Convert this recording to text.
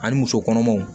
Ani muso kɔnɔmaw